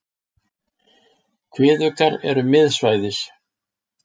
Kviðuggar eru miðsvæðis.